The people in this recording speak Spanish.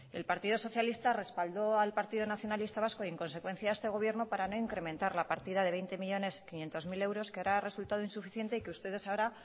el partido socialista respaldó al partido nacionalista vasco y en consecuencia a este gobierno para no incrementar la partida de veinte millónes quinientos mil euros que ahora ha resultado insuficiente y que ustedes ahora